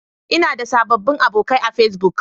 Ina da sababbin abokai a Facebook.